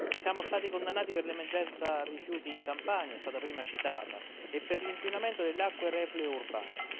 Siamo stati condannati per l'emergenza rifiuti in Campania è stata prima citata e per l'inquinamento delle acque reflue urbane.